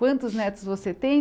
Quantos netos você tem?